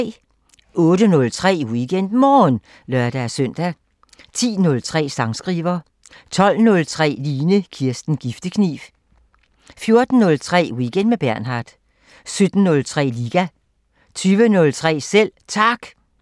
08:03: WeekendMorgen (lør-søn) 10:03: Sangskriver 12:03: Line Kirsten Giftekniv 14:03: Weekend med Bernhard 17:03: Liga 20:03: Selv Tak